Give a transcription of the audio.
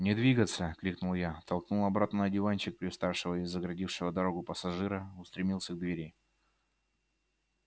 не двигаться крикнул я толкнул обратно на диванчик привставшего и загородившего дорогу пассажира устремился к двери